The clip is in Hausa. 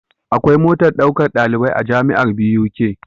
Akwai motar ɗaukar ɗalibai a jamiar Buk